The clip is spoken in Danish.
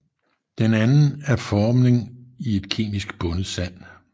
Den anden er formning i et kemisk bundet sand